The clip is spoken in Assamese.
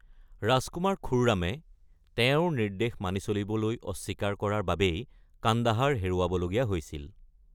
ৰাজকুমাৰ খুৰ্ৰামে তেওঁৰ নিৰ্দেশ মানি চলিবলৈ অস্বীকাৰ কৰাৰ বাবেই কান্দাহাৰ হেৰুৱাবলগীয়া হৈছিল।